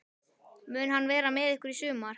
Mun hann vera með ykkur í sumar?